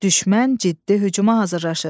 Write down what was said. Düşmən ciddi hücuma hazırlaşır.